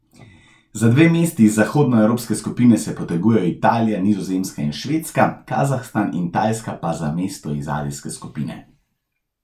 Za dve mesti iz zahodnoevropske skupine se potegujejo Italija, Nizozemska in Švedska, Kazahstan in Tajska pa za mesto iz azijske skupine.